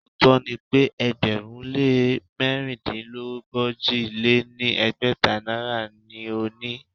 Òótó ni pe ẹgbẹ̀rún lé mẹ̀rindínogójì lé ní ẹgbẹ́ta náírà ni o ni.